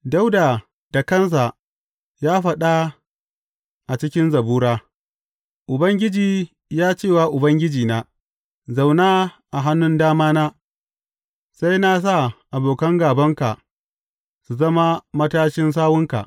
Dawuda da kansa ya faɗa a cikin Zabura, Ubangiji ya ce wa Ubangijina, Zauna a hannun damana, sai na sa abokan gābanka su zama matashin sawunka.